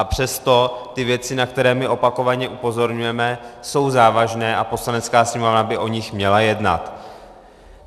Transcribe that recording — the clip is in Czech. A přesto ty věci, na které my opakovaně upozorňujeme, jsou závažné a Poslanecká sněmovna by o nich měla jednat.